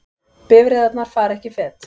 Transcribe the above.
Bifreiðarnar fara ekki fet